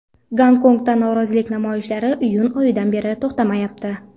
Gonkongda norozilik namoyishlari iyun oyidan beri to‘xtamayapti.